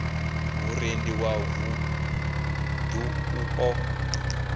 vhuendi wa vuṋdu u ḓo